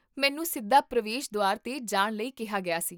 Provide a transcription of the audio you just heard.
ਮੈਨੂੰ ਸਿੱਧਾ ਪ੍ਰਵੇਸ਼ ਦੁਆਰ 'ਤੇ ਜਾਣ ਲਈ ਕਿਹਾ ਗਿਆ ਸੀ